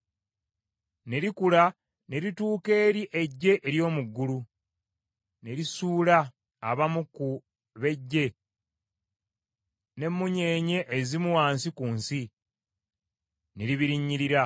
Ne likula ne lituuka eri eggye ery’omu ggulu, ne lisuula abamu ku b’eggye n’emmunyeenye ezimu wansi ku nsi, ne libirinnyirira.